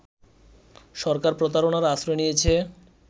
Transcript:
সরকার প্রতারণার আশ্রয় নিয়েছে